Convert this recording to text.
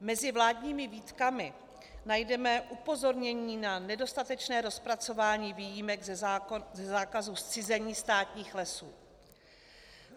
Mezi vládními výtkami najdeme upozornění na nedostatečné rozpracování výjimek ze zákazu zcizení státních lesů.